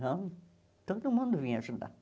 Não, todo mundo vinha ajudar.